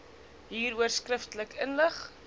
hieroor skriftelik ingelig